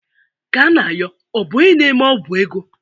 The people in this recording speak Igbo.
Kanayo ọ bụ onye na-eme ọ́gwụ̀ ego?